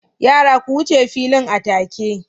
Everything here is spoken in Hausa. Yara! ku wuce filin atake